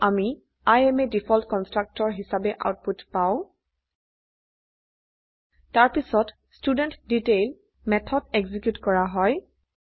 সেয়ে আমি I am a default constructor হিচাবে আউটপুট পাও তাৰপছিত ষ্টুডেণ্টডিটেইল মেথড এক্সিকিউট কৰা হয়